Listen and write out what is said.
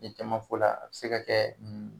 Ni caman fɔ la a bɛ se ka kɛ nin